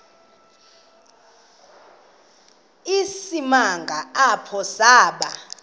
isimanga apho saba